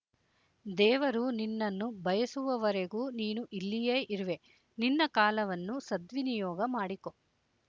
ದೇವರು ನಿನ್ನನ್ನು ಬಯಸುವವರೆಗೂ ನೀನು ಇಲ್ಲಿಯೇ ಇರುವೆ ನಿನ್ನ ಕಾಲವನ್ನು ಸದ್ವಿನಿಯೋಗ ಮಾಡಿಕೊ